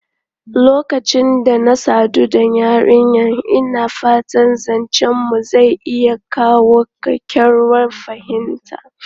Lokacin da na sadu da yarinyar, ina fata zancenmu zai iya kawo kyakkyawar fahimta.